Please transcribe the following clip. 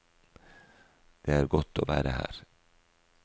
Det er godt å være her.